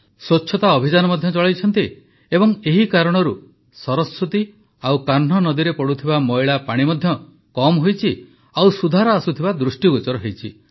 ସ୍ୱଚ୍ଛତା ଅଭିଯାନ ମଧ୍ୟ ଚଳାଇଛନ୍ତି ଏବଂ ଏହି କାରଣରୁ ସରସ୍ୱତୀ ଓ କାହ୍ନୁ ନଦୀରେ ପଡ଼ୁଥିବା ମଇଳା ପାଣି ମଧ୍ୟ କମ୍ ହୋଇଛି ଓ ସୁଧାର ଆସୁଥିବା ଦୃଷ୍ଟିଗୋଚର ହୋଇଛି